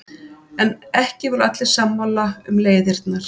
En ekki voru allir sammála um leiðirnar.